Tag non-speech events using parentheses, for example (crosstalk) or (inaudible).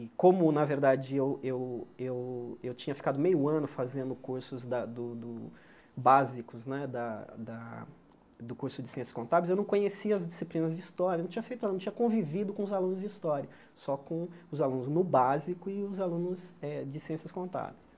E como, na verdade, eu eu eu eu tinha ficado meio ano fazendo cursos da do do básicos né da da do curso de Ciências Contábeis, eu não conhecia as disciplinas de História, não tinha feito, (unintelligible) não tinha convivido com os alunos de História, só com os alunos no básico e os alunos eh de Ciências Contábeis.